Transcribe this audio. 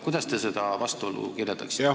Kuidas te seda vastuolu kirjeldaksite?